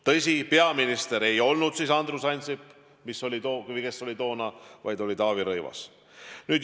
Tõsi, peaminister ei olnud siis Andrus Ansip, vaid Taavi Rõivas.